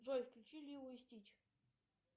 джой включи лило и стич